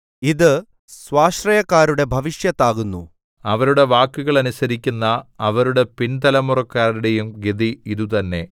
ഇത് സ്വാശ്രയക്കാരുടെ ഭവിഷ്യത്താകുന്നു അവരുടെ വാക്കുകൾ അനുസരിക്കുന്ന അവരുടെ പിൻതലമുറക്കാരുടെയും ഗതി ഇതുതന്നെ സേലാ